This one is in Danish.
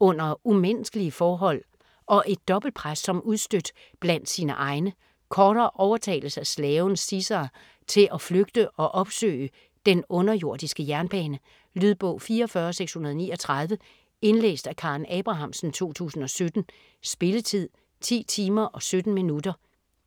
under umenneskelige forhold og et dobbeltpres som udstødt blandt sine egne. Cora overtales af slaven Caesar til at flygte og opsøge "den underjordiske jernbane". Lydbog 44639 Indlæst af Karen Abrahamsen, 2017. Spilletid: 10 timer, 17 minutter.